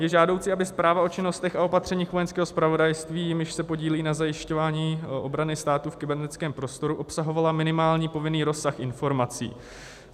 Je žádoucí, aby zpráva o činnostech a opatřeních Vojenského zpravodajství, jimiž se podílí na zajišťování obrany státu v kybernetickém prostoru, obsahovala minimální povinný rozsah informací.